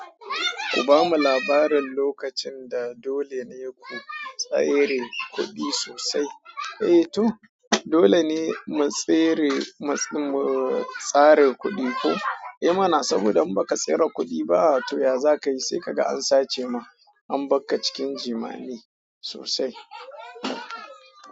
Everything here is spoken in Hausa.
Ku bamu labarin lokacin da dole ne ku tsare kuɗi sosai? Eh to dole ne mu tsare, mu tsare kuɗi ko? Eh mana saboda in ba ka tsare kuɗi ba to ya za ka yi sai ka ga an sace ma, an bakka cikin jimani sosai.